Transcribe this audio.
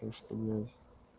так что блядь